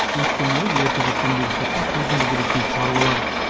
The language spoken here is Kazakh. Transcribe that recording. өйткені ол ерте көктемдегі суыққа төзімді келеді дейді шаруалар